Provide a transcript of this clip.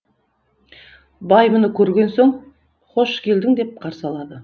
бай мұны көрген соң хош келдің деп қарсы алады